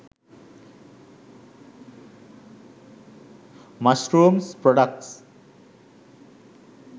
mushrooms products